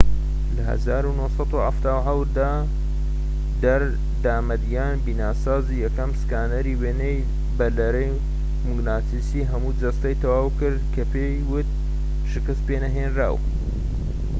لە ١٩٧٧ دا در. دامەدیان بیناسازیی یەکەم سکانەری وێنە بە لەرەی موگناتیسیی هەموو جەستە"ی تەواو کرد کە پێی بوت شکست پێنەهێنراو